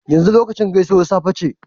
yanzu lokacin gaisuwar safe ce?